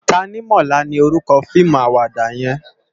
Tanimola ni órúkò fiimú àwàdá yèn